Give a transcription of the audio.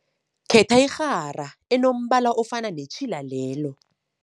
Khetha irhara enombala ofana netjhila lelo.